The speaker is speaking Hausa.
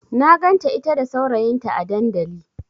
Na ganta ita da saurayinta a dandali.